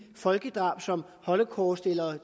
folkedrab som holocaust eller